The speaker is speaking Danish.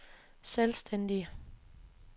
selvstændige